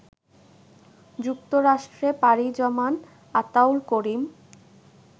যুক্তরাষ্ট্রে পাড়ি জমান আতাউল করিম